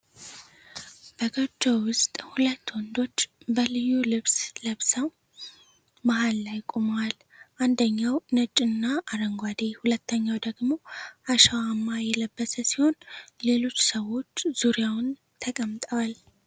በጎጆ ውስጥ ሁለት ወንዶች በልዩ ልብስ ለብሰው መሃል ላይ ቆመዋል። አንደኛው ነጭና አረንጓዴ፣ ሁለተኛው ደግሞ አሸዋማ የለበሰ ሲሆን፣ ሌሎች ሰዎች ዙሪያውን ተቀምጠዋል።